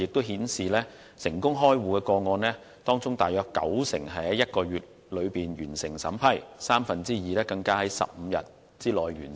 現時成功開戶個案當中大約九成是在1個月內完成審批，三分之二更是在15天內完成。